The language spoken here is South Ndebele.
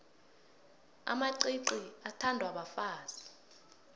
amacici athandwa bafazi